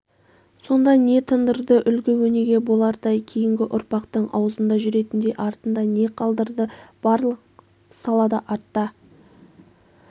сонда не тындырды үлгі өнеге болардай кейінгі ұрпақтың аузында жүретіндей артында не қалдырды барлық салада артта